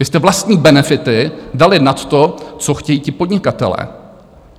Vy jste vlastní benefity dali nad to, co chtějí ti podnikatelé.